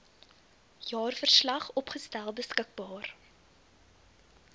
jaarverslag opgestel beskikbaar